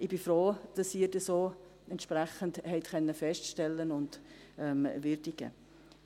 Ich bin froh, dass Sie dies auch entsprechend feststellen und würdigen konnten.